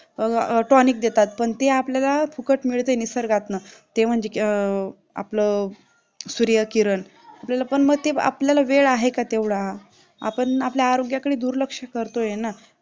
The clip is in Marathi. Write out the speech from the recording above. tonic देतात पण ते आपल्याला फुकट मिळते निसर्गात न की ते म्हणजे आपलं सूर्यकिरण आपल्याला मग ते आपल्याला वेळ आहे का तेवढा आपण आपल्या आरोग्याकडे दुर्लक्ष करतोय ना